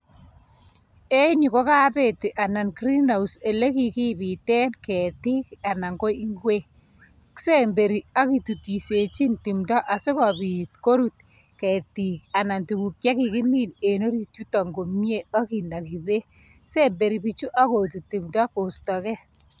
En yu kokabeti anan greenhouse ele kikibiten ketik anan ko ingwek, kisemberi akitutishechin timdo asi kopit korut ketik anan tuguk che kikimin en orit yuto komnye ainaki bek semnberi pichu akututi timndo koistake.